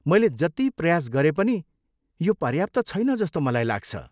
मैले जति प्रयास गरे पनि यो पर्याप्त छैन जस्तो मलाई लाग्छ।